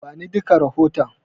Bani duka rahoton.